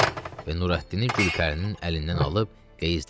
və Nurəddini Gülpərinin əlindən alıb qeyzdənmiş dedi.